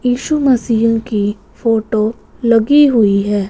यीशु मसीह की फोटो लगी हुई है।